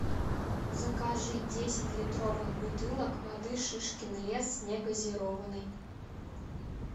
закажи десять литровых бутылок воды шишкин лес негазированной